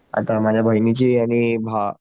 आता माझ्या बहिणीची आणि भाव